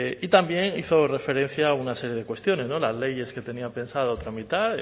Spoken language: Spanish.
y también hizo referencia a una serie de cuestiones las leyes que tenía pensado tramitar